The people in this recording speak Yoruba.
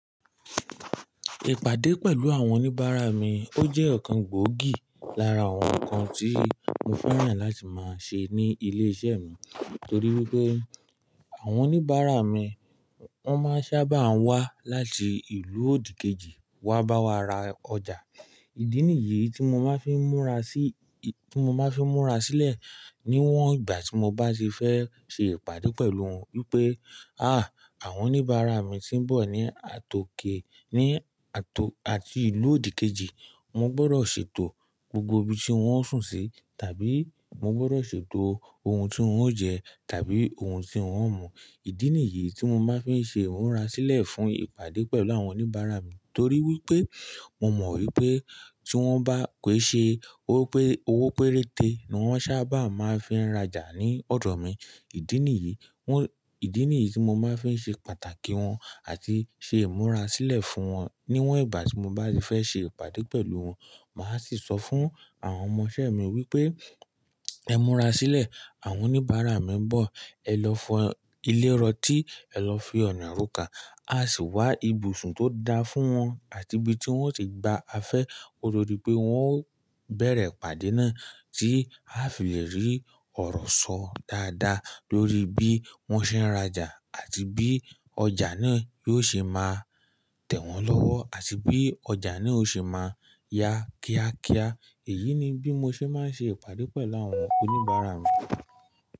Ìpàdé pẹ̀lú àwọn oníbàárà mi ó jẹ́ ọ̀kan gbòógì lára àwọn nnkan tí mo fẹ́ràn láti máa ṣe ní ilé-iṣẹ́ mi. Nítorí wípé àwọn oníbàárà mi wọ́n máa ń sábà wá láti ìlú òdìkejì wá bá wa ra ọjà. Ìdí nìyí tí mo máa ń fi múra sílẹ̀ níwọ́n ìgbà tí mo bá ti fẹ́ ṣe ìpàdé pẹ̀lú wọn wípé, àáwọn oníbàárà mi tí ń bọ̀ ní àtòkè àti ìlú òdìkejì, mo gbọ́dọ̀ ṣètò gbogbo ibi tí wón ń sùn sí tàbí mo gbọ́dọ̀ ṣètò ohun tí wón ń jẹ tàbí ohun tí wón ń mu. Ìdí nìyí tí mo máa ń fi ṣe ìmúra sílẹ̀ fún ìpàdé pẹ̀lú àwọn oníbàárà mi. Torí wípé mo mọ̀ wípé tí wón bá pé ṣe owó péréte ni wón sábà máa ń fi rája ní ọ̀dọ̀ mi. Ìdí nìyí tí mo máa ń fi ṣe pàtàkì wọn àti ṣe ìmúra sílẹ̀ fún wọn níwọ́n ìgbà tí mo bá ti fẹ́ ṣe ìpàdé pẹ̀lú wọn. Màá sì sọ fún àwọn ọmọṣẹ́ mi wípé, ẹ múra sílẹ̀, àwọn oníbàárà mi ń bọ̀, ẹ lọ fọ ilé rọ́tì, ẹ lọ fi ọ̀nà roka, a sì wá ibùsùn tó dáa fún wọn àti ibi tí wón ti gba afẹ́. Ko to di pé wọn ó bẹ̀rẹ̀ ìpàdé náà tí a fi lè rí ọ̀rọ̀ sọ dáadáa lórí bí wón ṣe ń rajà àti bí ọjà náà yóò ṣe máa tẹ̀ wọ́n lọ́wọ́ àti bí ọjà náà ó ṣe máa yá kíákíá. Èyí ni bí mo ṣe máa ń ṣe ìpàdé pẹ̀lú àwọn oníbàárà mi.